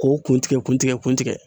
K'o kun tigɛ kun tigɛ kun tigɛ